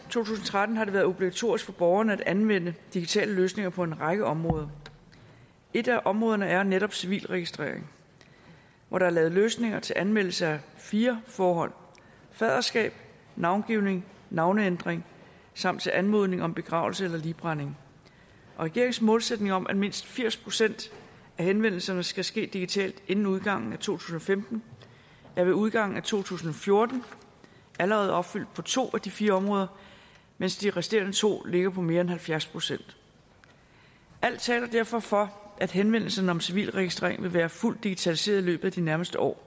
tusind og tretten har det været obligatorisk for borgerne at anvende digitale løsninger på en række områder et af områderne er netop civilregistreringen hvor der er lavet løsninger til anmeldelse af fire forhold faderskab navngivning navneændring samt anmodning om begravelse eller ligbrænding regeringens målsætning om at mindst firs procent af henvendelserne skal ske digitalt inden udgangen af to tusind og femten er ved udgangen af to tusind og fjorten allerede opfyldt på to af de fire områder mens de resterende to ligger på mere end halvfjerds procent alt taler derfor for at henvendelsen om civilregistrering vil være fuldt digitaliseret i løbet af de nærmeste år